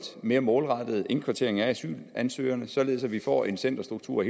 mere målrettet indkvartering af asylansøgerne således at vi får en centerstruktur